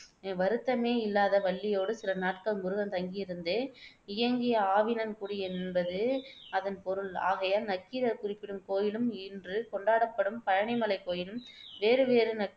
வருத்தமே இல்லாத வள்ளியோடு சில நாட்கள் முருகன் தங்கியிருந்து இயங்கிய ஆவினன்குடி என்பது அதன் பொருள். ஆகையால் நக்கீரர் குறிப்பிடும் கோயிலும் இன்று கொண்டாடப்படும் பழனிமலைக் கோயிலும் வேறு வேறு.